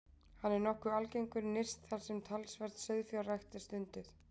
Hann er nokkuð algengur nyrst þar sem talsverð sauðfjárrækt er stunduð.